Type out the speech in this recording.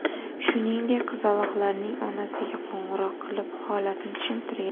Shuningdek, qizaloqlarning onasiga qo‘ng‘iroq qilib, holatni tushuntirgan.